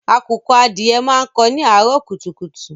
Àkùkọ adìẹ máa ń kó ni àárọ̀ kùtùkùtù.